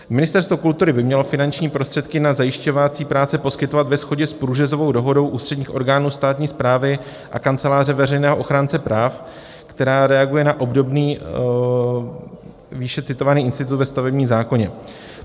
Ministerstvo kultury by mělo finanční prostředky na zajišťovací práce poskytovat ve shodě s průřezovou dohodou ústředních orgánů státní správy a Kanceláře veřejného ochránce práva, která reaguje na obdobný výše citovaný institut ve stavebním zákoně.